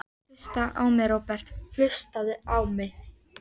Vegna snjókomu og hríðar í einni eða annarri mynd.